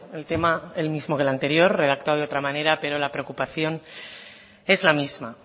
el tema el mismo que el anterior redactado de otra manera pero la preocupación es la misma